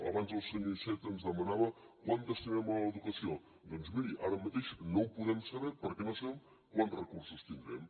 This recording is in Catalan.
abans el senyor iceta ens demanava quant destinem a l’educació doncs miri ara mateix no ho podem saber perquè no sabem quants recursos tindrem